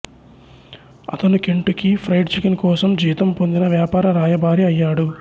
అతను Kentucky fried chicken కోసం జీతం పొందిన వ్యాపార రాయబారి అయ్యాడు